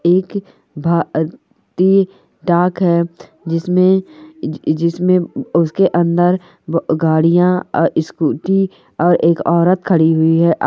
एक भारती डाक है जिसमें जि जिसमें उ उसके अंदर ब गाड़ियां अ स्कूटी और एक औरत खड़ी हुई है।